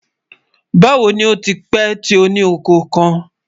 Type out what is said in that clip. Báwo ni ó ti pẹ̀ tó ní ọkọ̀ kan?